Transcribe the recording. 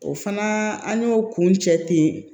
O fana an y'o kun cɛ ten